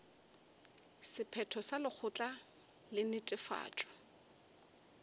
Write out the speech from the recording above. sephetho sa lekgotla la netefatšo